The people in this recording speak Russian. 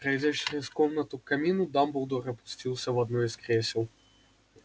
пройдя через комнату к камину дамблдор опустился в одно из кресел